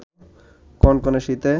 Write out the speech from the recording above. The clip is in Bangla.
কনকনে শীতে